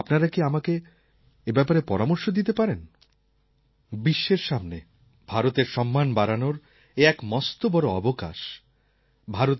আপনারা কি আমাকে এই ব্যাপারে পরামর্শ দিতে পারেন বিশ্বের সামনে ভারতের সম্মান বাড়ানোর এ এক মস্ত বড় অবসর বলে আমার মনে হয়